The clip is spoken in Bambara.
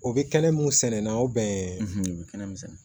O bɛ kɛnɛ mun sɛnɛ na o bɛn